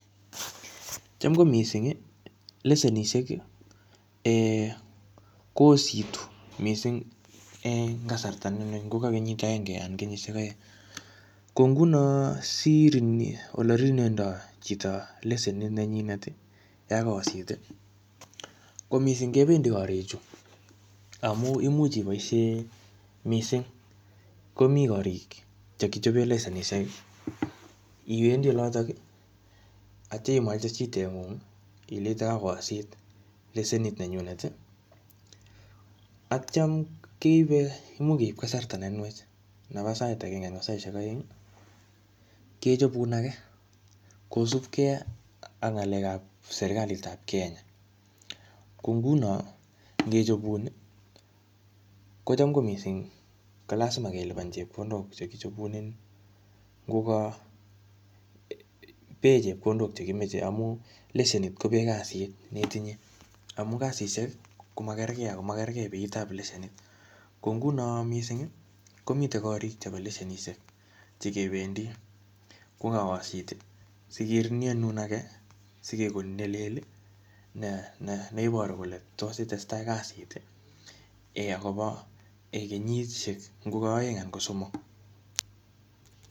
Cham ko mising ii, lesenisiek ii um koositu mising eng kasarta ne ngo ka kenyit akenge anan kenyisiek aeng, ko nguno olerinuendoi chito lesenit nenyinet ii ya kaosit ii, ko mising kebendi gorichu, amu imuch iboisie mising, komi gorik che kechobe lesenisiek, iwendi olotok ii atya imwaite shidengung ii ileite kakoosit lesenit nenyunet ii, atyam keibe imuch keip kasarta ne nwach nebo sait akenge anan ko saisiek aeng ii kechobun ake kosupkei ak ngalekab serikalitab Kenya, ko nguno ngechobun ii, ko cham ko mising ii ko lazima kelipan chepkondok che kichobunenin, ngo ka bee chepkondok che kimeche amu lesenit ko bee kasit neitinye amu kasisiek ii ko makerkei ako makerkei beitab lesenit, ko nguno mising ii komite gorik chebo lesenisiek che kebendi ye kaosit ii si kerinuenun ake sikekonin ne leel ii ne iboru kole tos itestai ak kasit ii akobo kenyisiek ngo ko aeng anan ko somok.